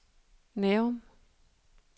Nærum